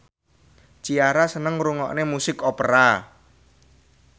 Ciara seneng ngrungokne musik opera